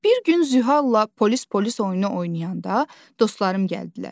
Bir gün Zühalla polis-polis oyunu oynayanda dostlarım gəldilər.